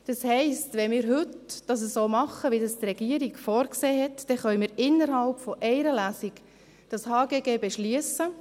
Das heisst, wenn wir es heute so machen, wie von der Regierung vorgesehen, können wir das HGG innerhalb einer Lesung beschliessen;